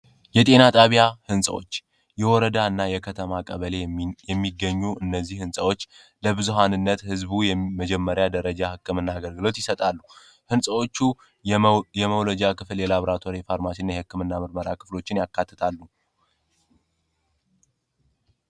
የጤናጣቢያ ሕንፀዎች የወረዳ እና የከተማ ቀበሌ የሚገኙ እነዚህ ሕንጸዎች ለብዙሃንነት ህዝቡ የመጀመሪያ ደረጃ ሕቅምናገርግሎት ይሰጣሉ ሕንፀዎቹ የመውሎጃ ክፍል የላብራትር የፋርማሽን የህክም እና ምርመራ ክፍሎችን ያካትታሉ፡፡